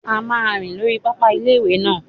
A máa rìn lórí pápá ilé-ìwé náà